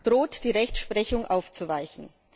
droht dies die Rechtsprechung aufzuweichen.